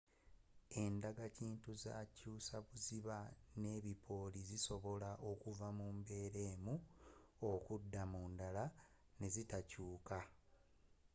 endagakintue z'enkyusabuziba n'ebipooli bisobola okuva mu mbeera emu okudda mu ndala ne zitakyuka